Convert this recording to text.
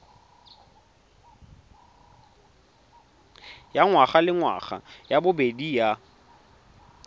ya ngwagalengwaga ya bobedi ya